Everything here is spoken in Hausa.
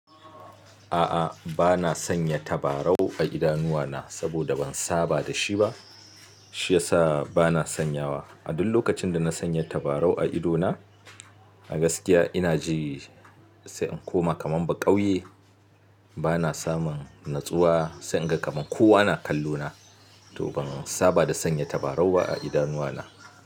A'a, bana sanya tabarau a idanuwa na saboda ban saba dashi ba. Shiyasa bana sanyawa. A duk lokacin da na sanya tabarau a ido na, a gaskiya ina ji sai in koma kaman baƙauye. Bana samun natsuwa sai in ga kaman kowa na kallo na. To ban saba da sanya tabarau a idanuwa na.